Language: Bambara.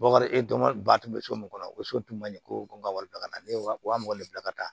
Wakari e dɔnko ba tun bɛ so mun na o so tun man ɲɛ ko n ka wari bila ka na ne wa mug bila ka taa